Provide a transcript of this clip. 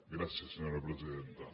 gràcies senyora presidenta